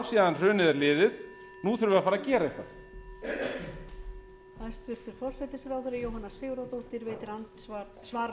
síðan hrunið er liðið nú þurfum við að fara að gera eitthvað